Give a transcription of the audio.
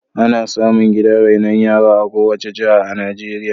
Ana samu gidan rainon yara a kowace jiha a Najeirya.